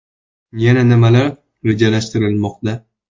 Yana nimalar rejalashtirilmoqda?